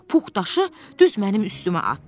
Pux daşı düz mənim üstümə atdı.